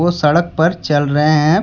वो सड़क पर चल रहे हैं।